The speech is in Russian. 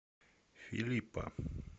филиппа